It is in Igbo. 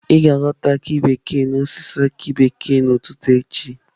Ị ga-aghọta aki bekee n'osisi aki bekee n'ụtụtụ echi